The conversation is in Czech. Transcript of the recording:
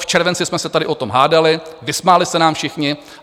V červenci jsme se tady o tom hádali, vysmáli se nám všichni.